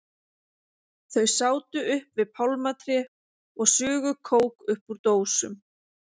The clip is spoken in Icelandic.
Þau sátu upp við pálmatré og sugu kók upp úr dósum.